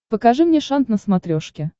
покажи мне шант на смотрешке